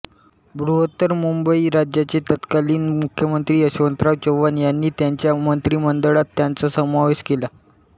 बृहत्तर मुंबई राज्याचे तत्कालीन मुख्यमंत्री यशवंतराव चव्हाण यांनी त्यांच्या मंत्रिमंडळात त्यांचा समावेश केला